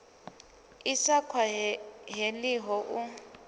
i sa khwa heliho u